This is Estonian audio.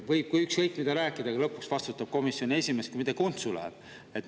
Võib ükskõik mida rääkida, aga lõpuks vastutab komisjoni esimees, kui midagi untsu läheb.